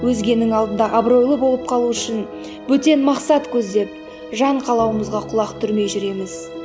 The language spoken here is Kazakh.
өзгенің алдында абыройлы болып қалу үшін бөтен мақсат көздеп жан қалауымызға құлақ түрмей жүреміз